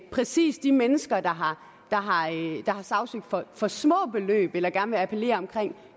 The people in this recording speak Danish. præcis de mennesker der har sagsøgt folk for små beløb eller gerne vil appellere omkring